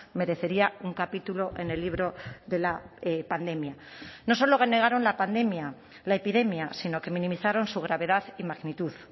merecería un capítulo en el libro de la pandemia no solo negaron la pandemia la epidemia sino que minimizaron su gravedad y magnitud